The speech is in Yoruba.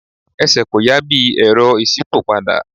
Ẹsẹ̀ kò yà bí i Ẹ̀rọ ìṣípòpadà.